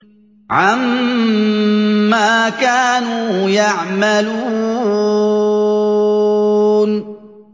عَمَّا كَانُوا يَعْمَلُونَ